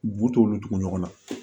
B'u t'olu tugu ɲɔgɔn na